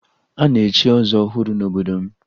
A na-echi ọzọ ọhụrụ n'obodo m